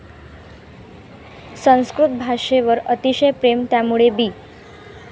संस्कृत भाषेवर अतिशय प्रेम, त्यामुळे बी